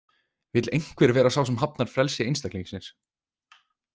Vill einhver vera sá sem hafnar frelsi einstaklingsins?